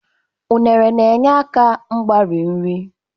unere na-enyere aka mgbari nri